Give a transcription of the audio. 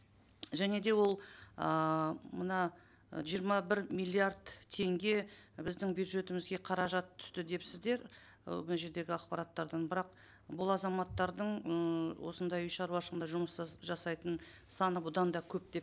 және де ол ыыы мына ы жиырма бір миллиард теңге біздің бюджетімізге қаражат түсті депсіздер і мына жердегі ақпараттардан бірақ бұл азаматтардың ммм осындай үй шаруашылығында жұмыс жасайтын саны бұдан да көп деп